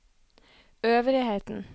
øvrigheten